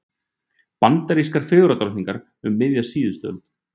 Bandarískar fegurðardrottningar um miðja síðustu öld.